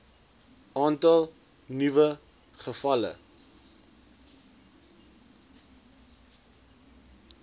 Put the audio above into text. aantal nuwe gevalle